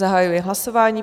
Zahajuji hlasování.